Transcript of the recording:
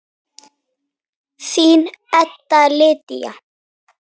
Þín Edda Lydía.